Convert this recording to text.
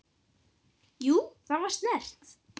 Jú, það var snert